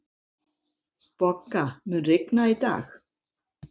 Bogga, mun rigna í dag?